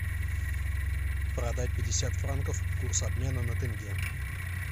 продать пятьдесят франков курс обмена на тенге